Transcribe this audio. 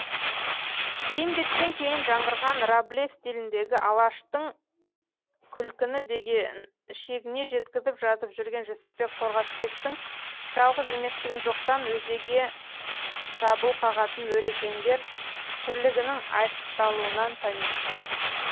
бейімбеттен кейін жаңғырған рабле стиліндегі алаштық күлкіні шегіне жеткізіп жазып жүрген жүсіпбек қорғасбектің жалғыз еместігін жоқтан өзеге дабыл қағатын орекеңдер тірлігінің айшықталуынан танимыз